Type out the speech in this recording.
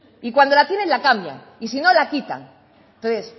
y cuando la tienen la cambian y si no la quitan entonces